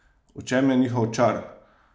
V čem je njihov čar?